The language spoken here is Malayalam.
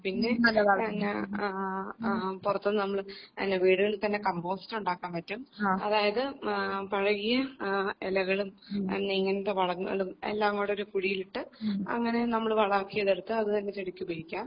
പിന്നെ നല്ലതാണ് പിന്നെ പുറത്തുനിന്നും നമ്മള് അല്ല വീടുകളിൽ തന്നെ കമ്പോസ്റ്റ് ഉണ്ടാക്കാൻ പറ്റും അതായത് പഴകിയ ഇലകളും പിന്നെ ഇങ്ങനത്തെ വളങ്ങളും എല്ലാംകൂടി ഒരു കുഴിയിലിട്ട് അങ്ങനെ നമ്മള് വളാക്കി എടുത്ത് ചെടിക്കുപയോഗിക്കാം